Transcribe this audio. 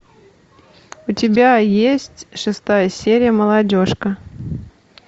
у тебя есть шестая серия молодежка